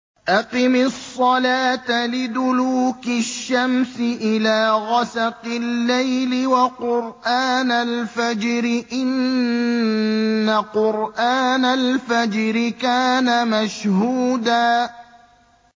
أَقِمِ الصَّلَاةَ لِدُلُوكِ الشَّمْسِ إِلَىٰ غَسَقِ اللَّيْلِ وَقُرْآنَ الْفَجْرِ ۖ إِنَّ قُرْآنَ الْفَجْرِ كَانَ مَشْهُودًا